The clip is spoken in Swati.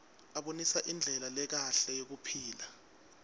abonisa indlela lekahle yekuphila